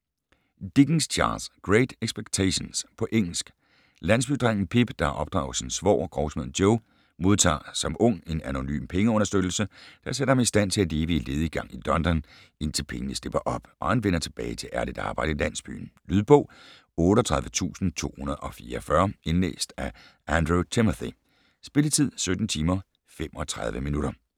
Dickens, Charles: Great expectations På engelsk. Landsbydrengen "Pip", der er opdraget hos sin svoger, grovsmeden Joe, modtager som ung en anonym pengeunderstøttelse, der sætter ham i stand til at leve i lediggang i London, indtil pengene slipper op, og han vender tilbage til ærligt arbejde i landsbyen. Lydbog 38244 Indlæst af Andrew Timothy Spilletid: 17 timer, 35 minutter